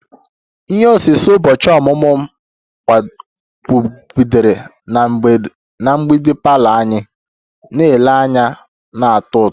Ihe osise ụbọchị ọmụmụ m kpọgidere na mgbidi parlour anyị na-ele anya na-atọ ụtọ